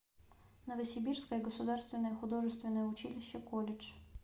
новосибирское государственное художественное училище колледж